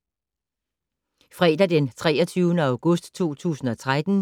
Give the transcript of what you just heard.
Fredag d. 23. august 2013